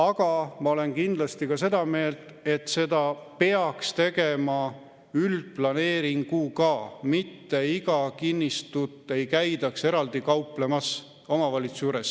Aga ma olen kindlasti seda meelt, et seda peaks tegema üldplaneeringuga, mitte ei käidaks iga kinnistut eraldi omavalitsuses kauplemas.